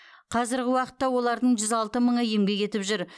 қазіргі уақытта олардың жүз алты мыңы еңбек етіп жүр